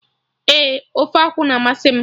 Ee, ofe akwụ na amasị m